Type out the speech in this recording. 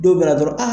Don bɛna na dɔrɔn